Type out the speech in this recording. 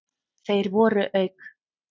Þeir voru auk